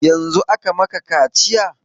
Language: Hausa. Yanzun aka maka kaciya?